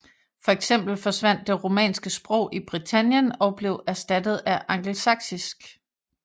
Fx forsvandt det romanske sprog i Britannien og blev erstattet af angelsaksisk